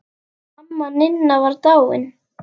Amma Ninna var dáin.